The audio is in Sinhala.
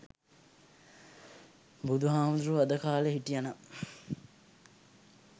බුදුහාමුදුරුවෝ අද කාලේ හිටියනම්